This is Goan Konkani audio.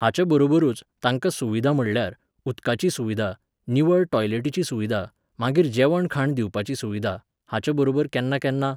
हाच्या बरोबरूच, तांकां सुविधा म्हणल्यार, उदकाची सुविधा, निवळ टॉयलेटीची सुविधा, मागीर जेवणखाण दिवपाची सुविधा, हाच्या बरोबर केन्ना केन्ना